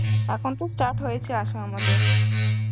এখন তো start হয়েছে আশা আমাদের.